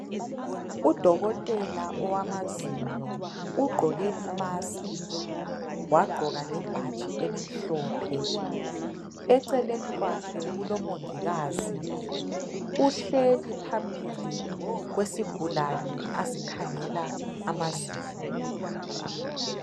Udokotela owamazinyo. Ugqoke imask wagqoka lebhatshi elimhophe. Eceleni kwakhe kulomongikazi uhleli phambili kwesigulane asikhangela amazinyo.